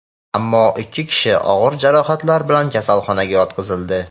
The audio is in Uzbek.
ammo ikki kishi og‘ir jarohatlar bilan kasalxonaga yotqizildi.